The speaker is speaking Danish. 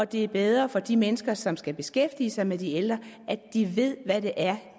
det er bedre for de mennesker som skal beskæftige sig med de ældre at de ved hvad det er